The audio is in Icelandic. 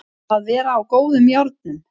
Að vera á góðum járnum